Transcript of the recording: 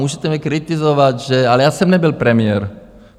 Můžete mě kritizovat, ale já jsem nebyl premiér.